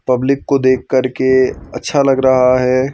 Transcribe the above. Public को देखकर के अच्छा लग रहा है।